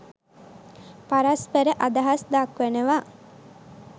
පරස්පර අදහස් දක්වනවා.